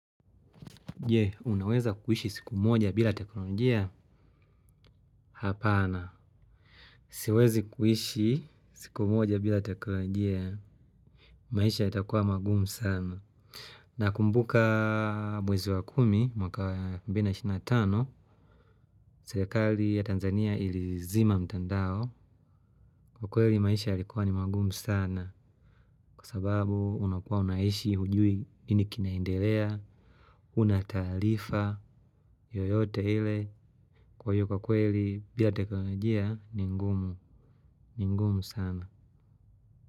Jee, unaweza kuishi siku moja bila teknolojia? Hapana. Siwezi kuishi siku moja bila teknolojia. Maisha itakuwa magumu sana. Nakumbuka mwezi wa kumi, mwaka mbili na ishirini na tao, serekali ya Tanzania ilizima mtandao. Kwa kweli maisha yalikuwa ni magumu sana. Kwa sababu unakuwa unaishi hujui nini kinaendelea, hunatalifa yoyote ile kwa iyo kwa kweli bila teknolojia ni ngumu. Ni ngumu sana.